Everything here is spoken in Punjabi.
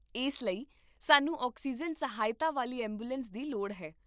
ਇਸ ਲਈ, ਸਾਨੂੰ ਆਕਸੀਜਨ ਸਹਾਇਤਾ ਵਾਲੀ ਐਂਬੂਲੈਂਸ ਦੀ ਲੋੜ ਹੈ